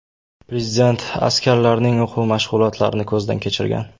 Prezident askarlarning o‘quv-mashg‘ulotlarini ko‘zdan kechirgan.